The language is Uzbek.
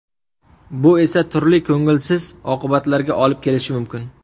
Bu esa turli ko‘ngilsiz oqibatlarga olib kelishi mumkin.